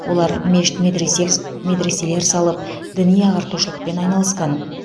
олар мешіт медрес медреселер салып діни ағартушылықпен айналысқан